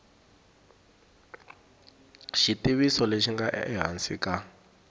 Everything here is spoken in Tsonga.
xivutiso lexi nga ehansi ka